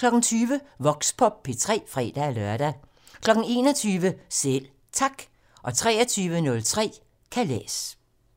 20:00: Voxpop P3 (fre-lør) 21:00: Selv Tak 23:03: Kalas